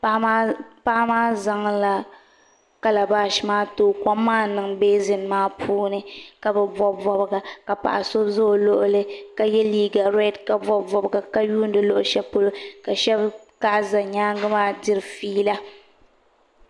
Paɣa maa zaŋla kalabash maa n tooi kom maa niŋ beezin maa puuni ka bi bob bobga ka paɣa so ʒɛ o luɣuli ka yɛ liiga reed ka bob bobga ka yuundi luɣu shɛli polo ka shab kaɣa ʒɛ nyaangi maa diri fiila